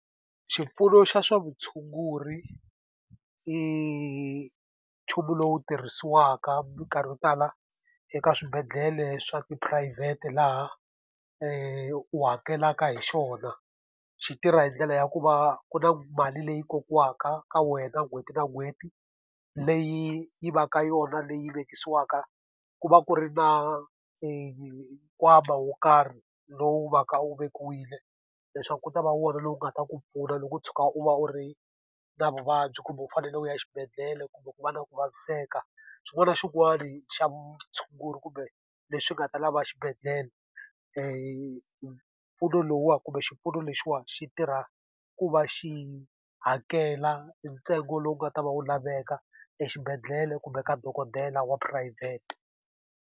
Xipfuno xa swa vutshunguri i nchumu lowu tirhisiwaka minkarhi yo tala eka swibedhlele swa tiphurayivhete laha u hakelaka hi xona. Xi tirha hi ndlela ya ku va ku na mali leyi kokiwaka ka wena n'hweti na n'hweti, leyi yi va ka yona leyi vekisiwaka. Ku va ku ri na nkwama wo karhi lowu va ka wu vekiwile leswaku ku ta va wona lowu nga ta ku pfuna loko u tshuka u va u ri na vuvabyi kumbe u fanele u ya xibedhlele kumbe ku va na ku vaviseka. Xin'wana na xin'wana xa vutshunguri kumbe leswi nga ta lava xibedhlele mpfuno lowuwani kumbe xipfuno lexiwani xi tirha ku va xi hakela ntsengo lowu nga ta va wu laveka exibedhlele kumbe ka dokodela wa phurayivhete.